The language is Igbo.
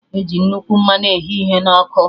Eji nnukwu mmanụ eghe ihe na ọkụ